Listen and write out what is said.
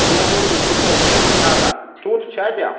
мне в восемь часов где быть надо тут в чате